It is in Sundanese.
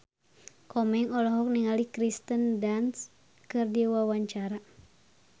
Komeng olohok ningali Kirsten Dunst keur diwawancara